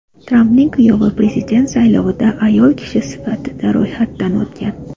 Trampning kuyovi prezident saylovida ayol kishi sifatida ro‘yxatdan o‘tgan.